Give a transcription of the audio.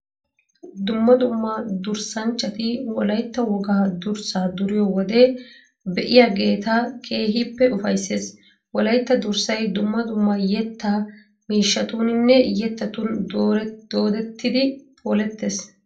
Dumma dumma durssanchchati wolaytta wogaa durssaa duriyo wode be'iyageeta keehippe ufayssees. Wolaytta durssay dumma dumma yettaa miishshatuuninne yettatun doodettidi polettees.